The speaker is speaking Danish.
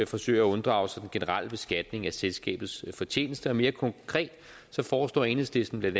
forsøger at unddrage sig den generelle beskatning af selskabets fortjeneste mere konkret foreslår enhedslisten bla